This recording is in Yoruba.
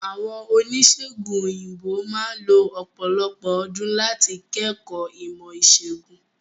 Àwọn Oníṣègùn òyìnbó máà lo ọ̀pọ̀lọpọ̀ ọdún láti kẹ́kọ̀ọ́ ìmọ̀ ìṣègùn.